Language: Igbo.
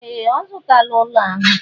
Ee! Ọ zụtala ụlọ ahụ.